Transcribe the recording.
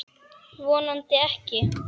Vonandi ekki.